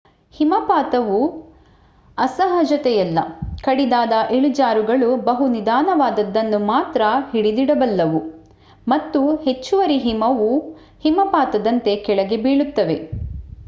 ಹಿಮಪಾತವು ಅಸಹಜತೆಯಲ್ಲ ಕಡಿದಾದ ಇಳಿಜಾರುಗಳು ಬಹು ನಿಧಾನವಾದದ್ದನ್ನು ಮಾತ್ರ ಹಿಡಿದಿಡಬಲ್ಲವು ಮತ್ತು ಹೆಚ್ಚುವರಿ ಹಿಮವು ಹಿಮಪಾತದಂತೆ ಕೆಳಗೆ ಬೀಳುತ್ತವೆ